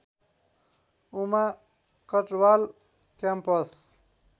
Uma Katwal campus